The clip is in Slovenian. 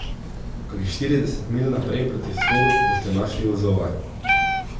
Kakih štirideset milj naprej proti vzhodu boste našli vozova.